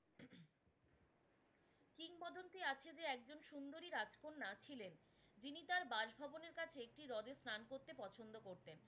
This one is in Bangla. কিংবদন্তি আছে যে একজন সুন্দরী রাজকন্যা ছিলেন যিনি তার বাস ভবনের কাছে একটি রদে স্নান করতে পছন্দ করতেন।